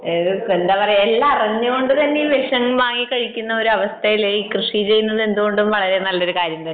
അതെ എന്താ പറയാ എല്ലാം അറിഞ്ഞുകൊണ്ടുതന്നെ വിഷം വാങ്ങി കഴിക്കുന്ന ഒരു അവസ്ഥയിൽ കൃഷി ചെയ്യന്നത് എന്ത് കൊണ്ടും നല്ലൊരു കാര്യം തന്നെയാണ്